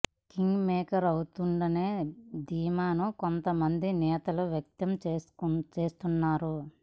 king maker అవుతుందనే ధీమాను కొంత మంది నేతలు వ్యక్తం చేస్తున్నారు